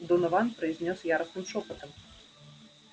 донован произнёс яростным шёпотом